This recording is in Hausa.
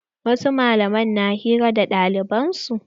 Wasu malaman na hira da ɗaliban su.